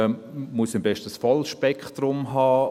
Muss ich am besten das volle Spektrum haben?